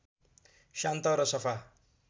शान्त र सफा